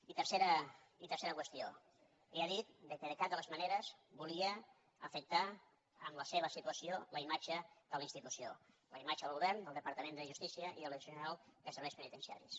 i tercera qüestió ell ha dit que de cap de les maneres volia afectar amb la seva situació la imatge de la institució la imatge del govern del departament de justícia i de la direcció general de serveis penitenciaris